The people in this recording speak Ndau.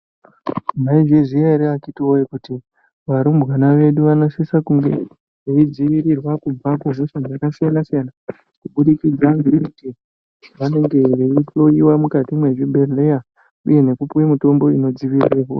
Maizviziya here vakiti woye kuti varumbwana vedu vanosisa kunge veidzivirirwa kubva kuhosha dzakasiyana siyana kuburikidza ngekuti vanenge veihloyiwa mwukati mwezvibhedhleya uye nekupiwe mitombo inodzivirire hosha?